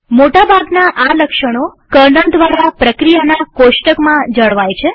મોટા ભાગના આ લક્ષણો કર્નલ દ્વારા પ્રક્રિયાના કોષ્ટકમાં જળવાય છે